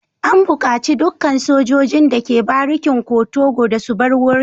An bukaci dukkan sojojin da ke barikin kotoco da su bar wurin.